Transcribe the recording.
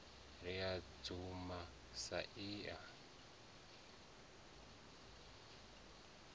ri u dzama a sia